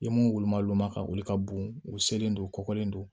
I ye mun woloma olu ma ka wuli ka bugun u selen don u kɔkɔlen don